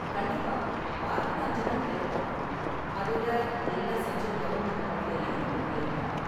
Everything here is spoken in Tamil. கண்டிப்பா, வாரத்துல அஞ்சி நாள் வேல பார்க்கணும், அதோட எல்லா சென்ட்ரல் கவர்ன்மெண்ட் ஹாலிடேலயும் உங்களுக்கு லீவு தான்.